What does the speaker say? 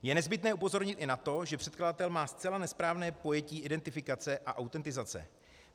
Je nezbytné upozornit i na to, že předkladatel má zcela nesprávné pojetí identifikace a autentizace.